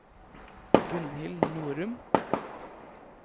Gunhild Norum